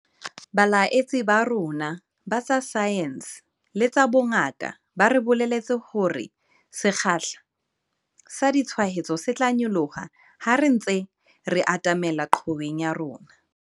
Baeletsi ba rona ba tsa saense le tsa bongaka ba re bolelletse hore sekgahla sa ditshwaetso se tla nyoloha ha re ntse re atamela qhoweng ya rona.